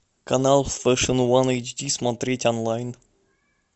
канал фэшн ван эйчди смотреть онлайн